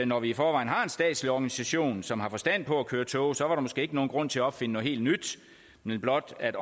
når vi i forvejen har en statslig organisation som har forstand på at køre tog så var der måske ikke nogen grund til at opfinde noget helt nyt men blot at